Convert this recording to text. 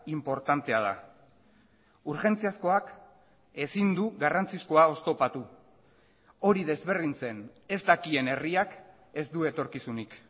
inportantea da urgentziazkoak ezin du garrantzizkoa oztopatu hori desberdintzen ez dakien herriak ez du etorkizunik